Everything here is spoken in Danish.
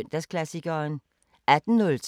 DR P4 Fælles